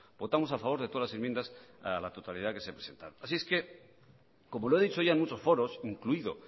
votamos a favorde todas las enmiendas para la totalidad que se presentaron así es que como lo he dicho ya en muchos foros incluido